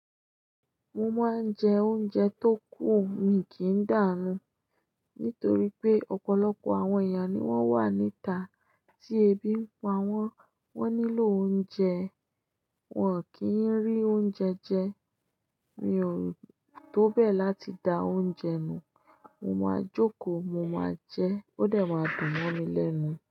Mo máa ń jẹ oúnjẹ tó kù, mi kì í dàánú nítorí pé ọ̀pọ̀lọpọ̀ àwọn èèyàn ni wón wà níta tí ebi ń pa wọ́n, wọ́n nílò oúnjẹ, wọn kì í rí oúnjẹ jẹ. Mi ò tó bẹ̀ láti da oúnjẹ nù. Mo máa jókòó, mo máa jẹ, ó dẹ̀ máa dùn mọ́ mi lẹ́nu.